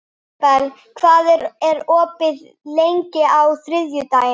Ísabel, hvað er opið lengi á þriðjudaginn?